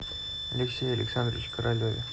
алексее александровиче королеве